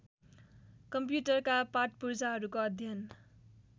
कम्प्युटरका पाटपुर्जाहरूको अध्ययन